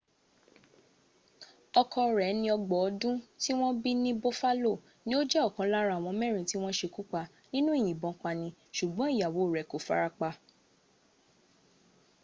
ọkọ rẹ̀ ẹni ọgbọ̀n ọdún tí wọ́n bí ní buffalo ní ó jẹ́ ọ̀kan lára àwọn mẹ́rin tí wọ́n sekúpa nínú ìyìnbọn pani sùgbọ́n ìyàwó rẹ̀ kò fara pa